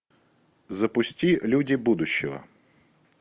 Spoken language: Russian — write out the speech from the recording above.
запусти люди будущего